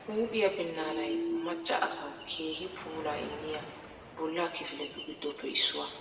Huuphiyaa binnaanay macca asawu keehi puulaa immiya bollaa kifiletu giddoppe issuwaa.